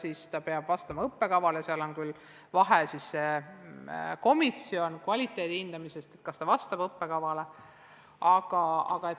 Tõsi, see peab vastama õppekavale ja seal vahel on komisjon, mis hindab kvaliteeti, seda, kas õpik vastab õppekavale.